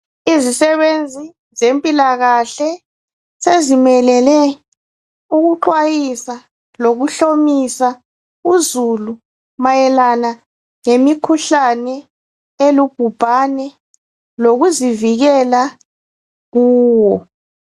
izisebenzi zempilakahle zezimelele ukuxwayisa lokuhlomisa uzulu mayelana lemikhuhlane elugubhane lokuzivikela kuwo